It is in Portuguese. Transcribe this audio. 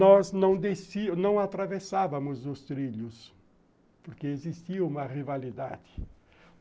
Nós não desci não atravessávamos os trilhos, porque existia uma rivalidade.